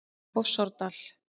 Fossárdal